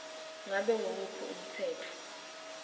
ngabe nguwuphi umtsetfo